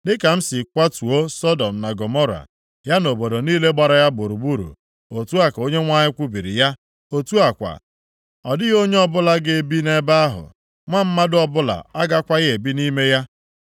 Dịka m si kwatuo Sọdọm na Gọmọra, ya na obodo niile gbara ya gburugburu,” otu a ka Onyenwe anyị kwubiri ya. “Otu a kwa, ọ dịghị onye ọbụla ga-ebi nʼebe ahụ; nwa mmadụ ọbụla agakwaghị ebi nʼime ya.”